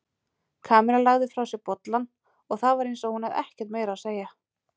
Kamilla lagði frá sér bollann og það var eins hún hefði ekkert meira að segja.